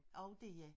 Og dér